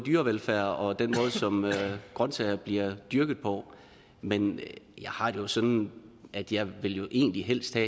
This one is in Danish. dyrevelfærd og den måde som grønsager bliver dyrket på men jeg har det jo sådan at jeg egentlig helst vil